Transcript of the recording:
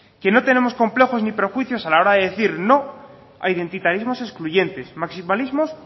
que no tenemos complejos ni prejuicios a la hora de decir no a identitarismos excluyentes maximalismos